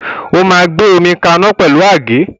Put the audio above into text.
O máa gbé omi kaná pẹ̀lú àgé.